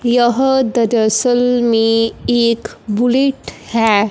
यह दरअसल में एक बुलेट है।